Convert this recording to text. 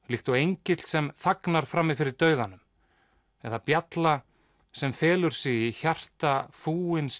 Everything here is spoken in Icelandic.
líkt og engill sem þagnar frammi fyrir dauðanum eða bjalla sem felur sig í hjarta